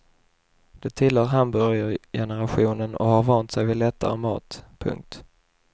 De tillhör hamburgergenerationen och har vant sig vid lättare mat. punkt